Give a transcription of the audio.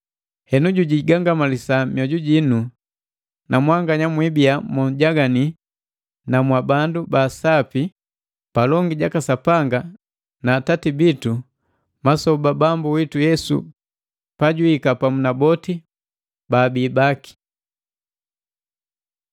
Henu jujigangamalisa mioju jinu, na mwanganya mwiibia monkamiliki na mwa bandu baa sapi palongi jaka Sapanga na Atati bitu masoba Bambu witu Yesu pajwiika pamu na boti baabi baki.